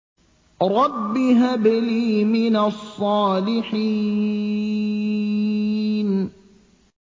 رَبِّ هَبْ لِي مِنَ الصَّالِحِينَ